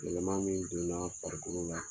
Yɛlɛma min donna farikolo la